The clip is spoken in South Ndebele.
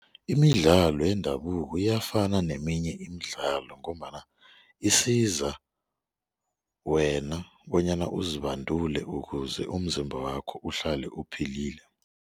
Imidlalo yendabuko iyafana neminye imidlalo ngombana isiza wena bonyana uzibandule ukuze umzimba wakho uhlale uphilile.